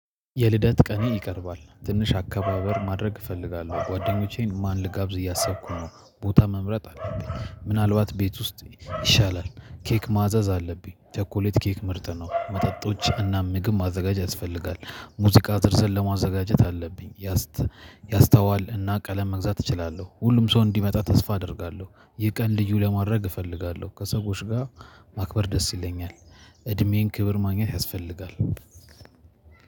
የልደት ቀኔ ይቀርባል ትንሽ አከባበር ማድረግ እፈልጋለሁ ጓደኞቼን ማን ልጋብዝ እያሰብኩ ነው ቦታ መምረጥ አለብኝ ምናልባት ቤት ውስጥ ይሻላል ኬክ ማዘዝ አለብኝ ቸኮሌት ኬክ ምርት ነው መጠጦች እና ምግብ ማዘጋጀት ያስፈልጋል ሙዚቃ ዝርዝር ለማዘጋጀት አለብኝ። ያስታዋል እና ቀለም መግዛት እችላለሁ ሁሉም ሰው እንዲመጣ ተስፋ አደርጋለሁ። ይህ ቀን ልዩ ለማድረግ እፈልጋለሁ ከሰዎች ጋር ማክበር ደስ ይለኛል። እድሜዬን ክብር ማግኘት ያስፈልጋል።